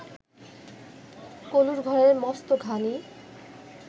কলুর ঘরে মস্ত ঘানি